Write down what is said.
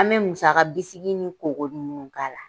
An bɛ musaka bisiki ni koko ninnu k'a la.